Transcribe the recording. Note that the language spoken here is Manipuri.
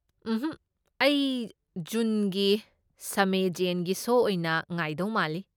ꯎꯝꯍꯛ, ꯑꯩ ꯖꯨꯟꯒꯤ ꯁꯃꯦ ꯖꯦꯟꯒꯤ ꯁꯣ ꯑꯣꯏꯅ ꯉꯥꯏꯗꯧ ꯃꯥꯜꯂꯤ꯫